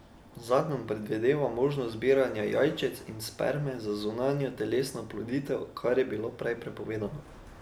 Zakon predvideva možnost zbiranja jajčec in sperme za zunajtelesno oploditev, kar je bilo prej prepovedano.